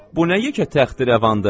Bu nə yekə təxdirəvandır?